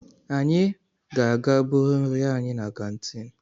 Anyị ga-aga buru nri anyị na kantiin.